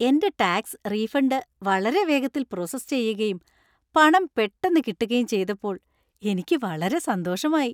എന്‍റെ tax refund വളരെ വേഗത്തിൽ പ്രോസസ്സ് ചെയ്യുകയും പണം പെട്ടന്ന് കിട്ടുകയും ചെയ്തപ്പോൾ എനിക്ക് വളരെ സന്തോഷമായി.